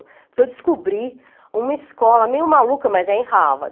Porque eu descobri uma escola meio maluca, mas é em Harvard.